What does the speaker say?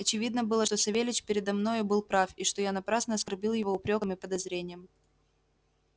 очевидно было что савельич передо мною был прав и что я напрасно оскорбил его упрёком и подозрением